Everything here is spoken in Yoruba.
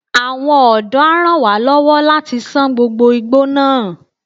Àwọn ọ̀dọ́ a ràn wá lọ́wọ́ láti ṣán gbogbo igbó náà.